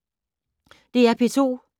DR P2